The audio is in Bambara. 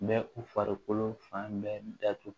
Bɛ u farikolo fan bɛɛ datugu